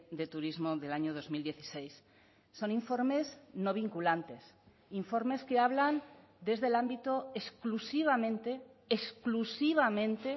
de turismo del año dos mil dieciséis son informes no vinculantes informes que hablan desde el ámbito exclusivamente exclusivamente